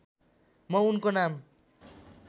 म उनको नाम